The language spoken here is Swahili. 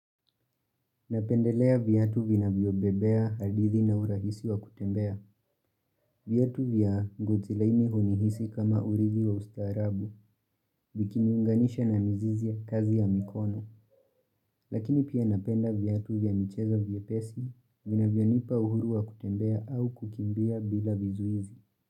Napendelea viatu vinavyo bebea hadithi na urahisi wa kutembea. Viatu vya ngozi laini hunihisi kama uridhi wa ustaarabu, vikiniunganisha na mzizi ya kazi ya mikono. Lakini pia napenda viatu vya michezo vyepesi, vinavyonipa uhuru wa kutembea au kukimbia bila vizuizi.